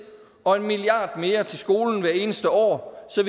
og en milliard kroner mere til skolen hvert eneste år så